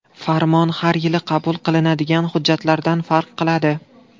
Farmon har yili qabul qilinadigan hujjatlardan farq qiladi.